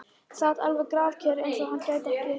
Sat alveg grafkyrr, eins og hann gæti sig ekki hrært.